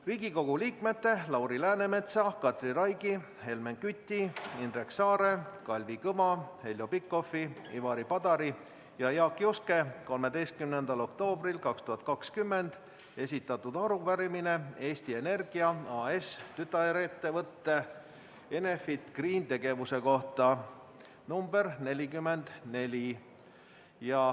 Riigikogu liikmete Lauri Läänemetsa, Katri Raigi, Helmen Küti, Indrek Saare, Kalvi Kõva, Heljo Pikhofi, Ivari Padari ja Jaak Juske 13. oktoobril 2020 esitatud arupärimine Eesti Energia AS-i tütarettevõte Enefit Green tegevuse kohta .